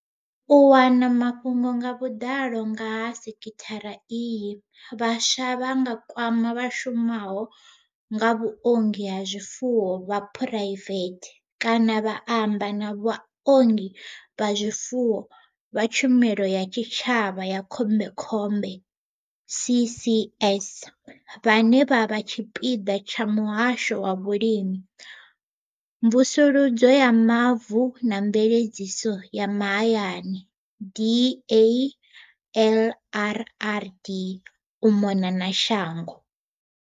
U wana mafhungo nga vhuḓalo nga ha sekhithara iyi, vhaswa vha nga kwama vha shumaho nga vhuongi ha zwifuwo vha phuraivethe kana vha amba na vhaongi vha zwifuwo vha tshumelo ya tshitshavha ya khombekhombe CCS vhane vha vha tshipiḓa tsha Muhasho wa Vhulimi, Mvusuludzo ya Mavu na Mveledziso ya Mahayani DALRRD u mona na shango.